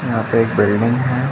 यहाँ पे एक बिल्डिंग है।